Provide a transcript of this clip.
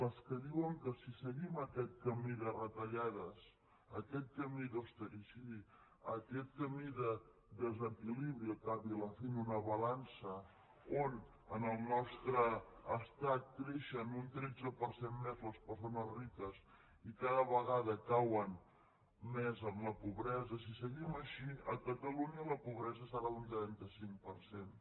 les que diuen que si seguim aquest camí de retallades aquest camí d’austericidi aquest camí de desequilibri al cap i a la fi en una balança on en el nostre estat creixen un tretze per cent més les persones riques i cada vegada cauen més en la pobresa si seguim així a catalunya la pobresa serà d’un trenta cinc per cent